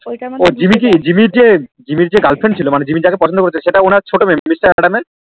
ওই তা হচ্ছে